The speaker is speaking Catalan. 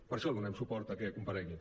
per això donem suport a que comparegui